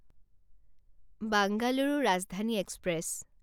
Bengaluru Rajdhani express